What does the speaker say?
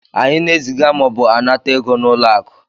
anyị na-eziga ma ọ bụ nata ego na ụlọ akụ